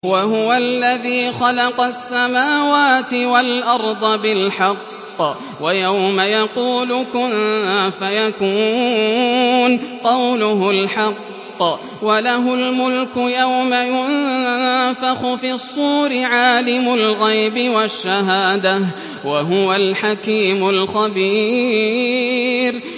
وَهُوَ الَّذِي خَلَقَ السَّمَاوَاتِ وَالْأَرْضَ بِالْحَقِّ ۖ وَيَوْمَ يَقُولُ كُن فَيَكُونُ ۚ قَوْلُهُ الْحَقُّ ۚ وَلَهُ الْمُلْكُ يَوْمَ يُنفَخُ فِي الصُّورِ ۚ عَالِمُ الْغَيْبِ وَالشَّهَادَةِ ۚ وَهُوَ الْحَكِيمُ الْخَبِيرُ